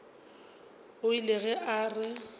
o ile ge a re